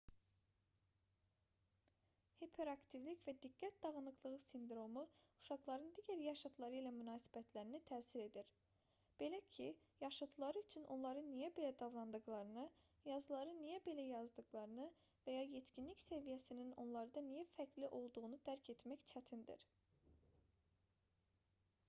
hiperaktivlik və diqqət dağınıqlığı sindromu uşaqların digər yaşıdları ilə münasibətlərinə təsir edir belə ki yaşıdları üçün onların niyə belə davrandıqlarını yazıları niyə belə yazdıqlarını və ya yetkinlik səviyyəsinin onlarda niyə fərqli olduğunu dərk etmək çətindir